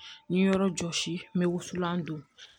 N ye yɔrɔ jɔsi n bɛ wusulan don